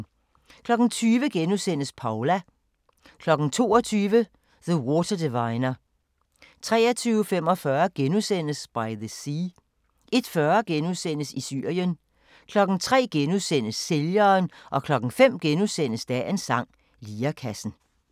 20:00: Paula * 22:00: The Water Diviner 23:45: By the Sea * 01:40: I Syrien * 03:00: Sælgeren * 05:00: Dagens sang: Lirekassen *